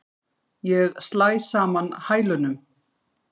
Ég slæ saman hælunum.